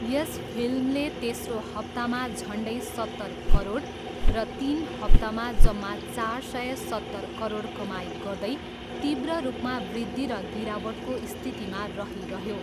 यस फिल्मले तेस्रो हप्तामा झन्डै सत्तर करोड र तिन हप्तामा जम्मा चार सय सत्तर करोड कमाइ गर्दै तीव्र रूपमा वृद्धि र गिरावटको स्थितिमा रहिरह्यो।